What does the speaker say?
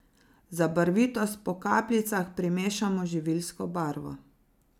Za barvitost po kapljicah primešamo živilsko barvo.